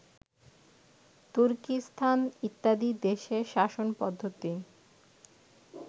তুর্কীস্থান ইত্যাদি দেশের শাসনপদ্ধতি